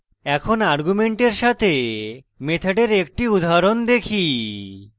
এখন arguments সাথে মেথডের একটি উদাহরণ দেখি